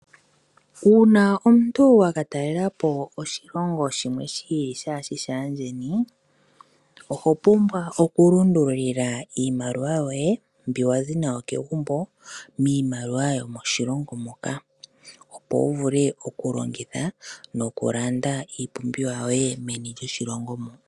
Uuna omuntu waka talelepo oshilongo shimwe shi ili shaa shi shaandjeni, oho pumbwa okulundululila iimaliwa yoye mbi wa zi nayo kegumbo miimaliwa yomoshilongo moka ,opo wu vule okulongitha nokulanda iipumbiwa yoye meni lyoshilongo mo.